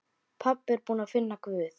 Pabbi búinn að finna Guð!